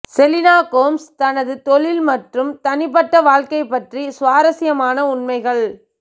Selena Gomez தனது தொழில் மற்றும் தனிப்பட்ட வாழ்க்கை பற்றி சுவாரஸ்யமான உண்மைகள்